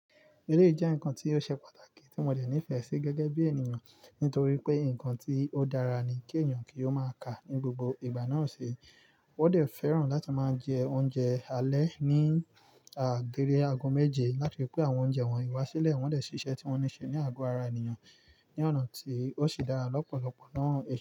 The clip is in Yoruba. Èrè jẹ́ ǹkan tí ó ṣe pàtàkì tí mo dẹ̀ nífẹ̀ẹ́ sí gẹ́gẹ́ bí ènìyàn, nítorí pé ǹkan tí ó dára ni kí ènìyàn kí ó máa ka ní gbogbo ìgbà náà ṣe. Wọ́n dẹ̀ fẹ́ràn láti máa jẹ oúnjẹ alẹ́ ní agbere ago méje, látari pé àwọn oúnjẹ wọn ì wá sílẹ̀, wọ́n dẹ̀ ṣíṣe tí wọ́n ní ṣe ní ago ara ènìyàn ní ọ̀nà tí ó ṣe dára lọ́pọ̀lọpọ̀ náà he.